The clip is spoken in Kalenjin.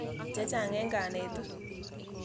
Che chang' eng' kanetik.